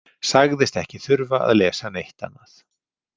Sagðist ekki þurfa að lesa neitt annað.